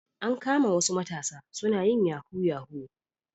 An kama wasu matasa suna yin yahu yahu